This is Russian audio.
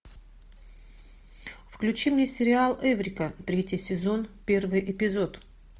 включи мне сериал эврика третий сезон первый эпизод